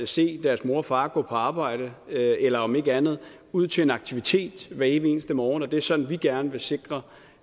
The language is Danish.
se deres mor og far gå på arbejde eller om ikke andet ud til en aktivitet hver evig eneste morgen det er sådan vi gerne vil sikre